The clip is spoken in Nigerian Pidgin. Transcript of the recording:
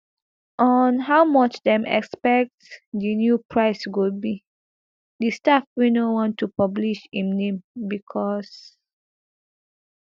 on how much dem expect di new price go be di staff wey no wan to publish im name bicos